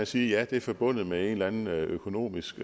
sige at det er forbundet med en eller anden økonomisk